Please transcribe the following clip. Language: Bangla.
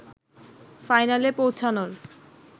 ফাইনালে পৌঁছানোর